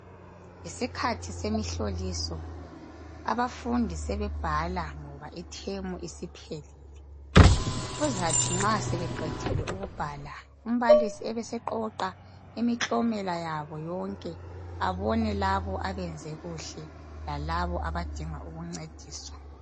Yisikhathi semihloliso, abafundi sebebhala ngoba ithemu isiphelile. Kuzathi nxa sebeqedile ukubhala umbalisi ebeseqoqa imiklomela yabo bonke abone labo abenze kuhle lalabo abadinga ukuncediswa.